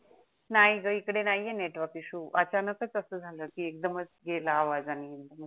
नाही ग इकडे नाहीये नेटवर्क इश्यू अचानक अस झालं की एकदमच गेला आवाज आणि